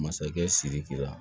Masakɛ siriki la